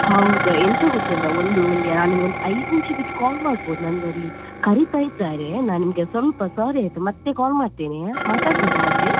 ಹೌದಾ ಎಂತ ಗೊತ್ತುಂಟಾ ಒಂದು ಆ ನಾನ್ ನಿಮ್ಗೊಂದ್ ಐದು ನಿಮಿಷ ಬಿಟ್ಟ್ call ಮಾಡ್ಬೋದ ನಂಗೆ ಅಲ್ಲಿ ಕರೀತಾ ಇದ್ದಾರೆ ನಾ ನಿಮ್ಗೆ ಸ್ವಲ್ಪ sorry ಆಯ್ತಾ ಮತ್ತೆ call ಮಾಡ್ತೇನೆ ಮಾತಡ್ಬೋದಾ ಮತ್ತೆ.